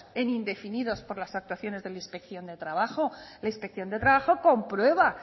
en indefinidos por las actuaciones de la inspección de trabajo la inspección de trabajo comprueba